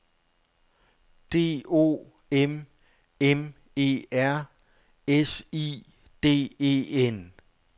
D O M M E R S I D E N